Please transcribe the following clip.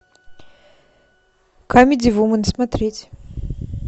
камеди вумен смотреть